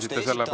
Väga hea!